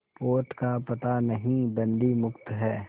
पोत का पता नहीं बंदी मुक्त हैं